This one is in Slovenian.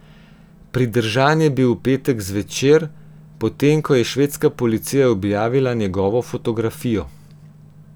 Pridržan je bil v petek zvečer, potem ko je švedska policija objavila njegovo fotografijo.